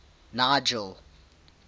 nigel